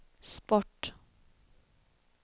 sport